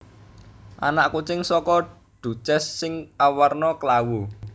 Anak kucing saka Duchess sing awarna klawu